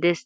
dees.